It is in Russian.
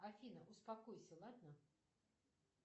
афина успокойся ладно